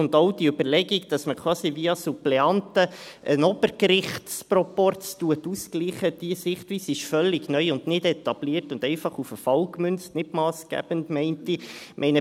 Weiter ist die Überlegung, dass man quasi via Suppleanten einen Obergerichtsproporz ausgleicht, diese Sichtweise ist völlig neu und nicht etabliert, einfach auf den Fall gemünzt und nicht massgebend, würde ich meinen.